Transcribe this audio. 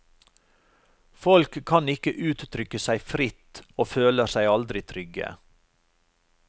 Folk kan ikke uttrykke seg fritt og føler seg aldri trygge.